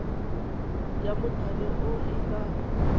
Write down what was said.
ya mothale o e ka